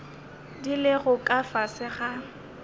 di lego ka fase ga